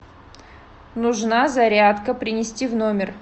нужна зарядка принести в номер